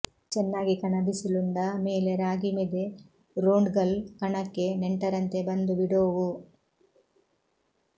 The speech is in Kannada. ಚೆನ್ನಾಗಿ ಕಣ ಬಿಸಿಲುಂಡ ಮೇಲೆ ರಾಗಿ ಮೆದೆ ರೋಂಡ್ಗಲ್ಲು ಕಣಕ್ಕೆ ನೆಂಟರಂತೆ ಬಂದು ಬಿಡೋವು